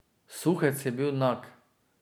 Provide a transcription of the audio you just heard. Suhec je bil nag.